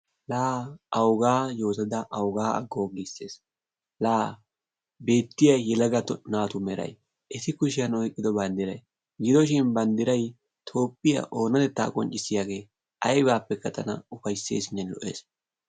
Laa awugaa yootada awugaa aggoo giisses la beettiya yelaga naatu merayi eti kushiyan oyqqido banddirayi gidoshin banddirayi toophphiya oonatettaa qonccissiyage aybaappekka tana ufaysseesinne lo"es.